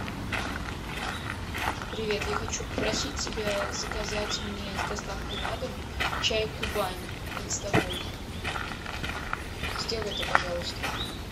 привет я хочу попросить тебя заказать мне с доставкой на дом чай кубань листовой сделай это пожалуйста